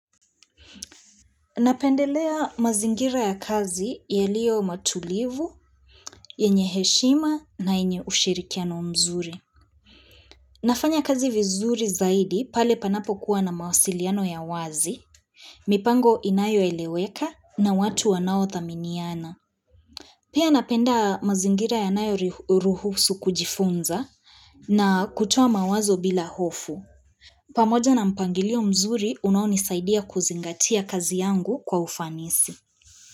Napendelea mazingira ya kazi ya liyo matulivu, ya yenye heshima na yenye ushirikiano mzuri. Nafanya kazi vizuri zaidi pale panapo kuwa na mawasiliano ya wazi, mipango inayo eleweka na watu wanao thaminiana. Pia napenda mazingira ya nayo ruhusu kujifunza na kutuwa mawazo bila hofu. Pamoja na mpangilio mzuri unoonisaidia kuzingatia kazi yangu kwa ufanisi.